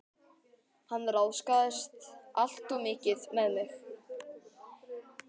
Hann ráðskaðist alltof mikið með mig.